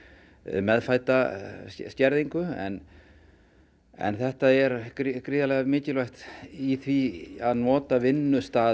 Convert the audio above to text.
meðfædda skerðingu en en þetta er gríðarlega mikilvægt í því að nota vinnustaðinn